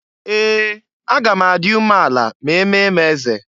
Ee! Aga m adị ume ala ma eme m eze.